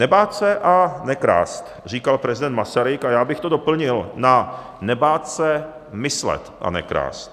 Nebát se a nekrást, říkal prezident Masaryk, a já bych to doplnil na nebát se myslet a nekrást.